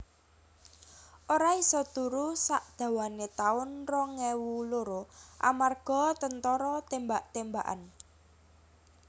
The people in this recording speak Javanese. Ora iso turu sak dawane taun rong ewu loro amarga tentara tembak tembakan